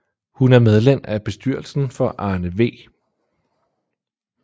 Hun er medlem af bestyrelsen for Arne V